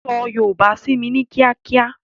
So yòòbá sími ní kíákíá!